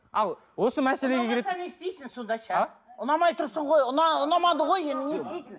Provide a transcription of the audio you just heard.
ал осы мәселеге а ұнамай тұрсың ғой ұнамады ғой енді не істейсің